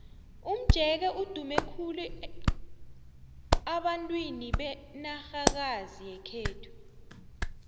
umjeke udume khulu abantwini benarhakazi yekhethu